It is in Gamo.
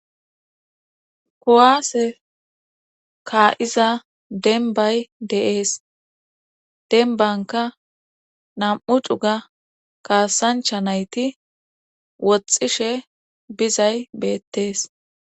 kowaase kaa7iza denbay deees denbanka nam7u dhuga kaasancha nayti woxxishe bizay beettees